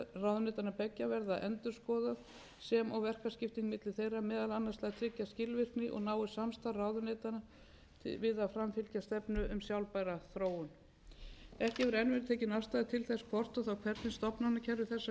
ráðuneytanna beggja verður endurskoðað sem og verkaskipting milli þeirra meðal annars til þess að tryggja skilvirkni og náið samstarf ráðuneytanna við að framfylgja stefnu um sjálfbæra þróun ekki hefur enn verið tekin afstaða til þess hvort og þá hvernig stofnanakerfi þessara tveggja nýju